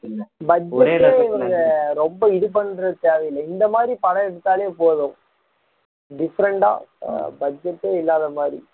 budget ஏ இவங்க ரொம்ப இது பண்றது தேவையில்லை இது மாதிரி படம் எடுத்தாலே போதும் different ஆ budget ஏ இல்லாத மாதிரி